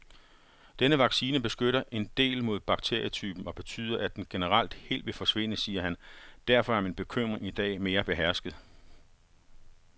Denne vaccine beskytter en del mod bakterietypen og betyder, at den generelt helt vil forsvinde, siger han,, derfor er min bekymring i dag mere behersket.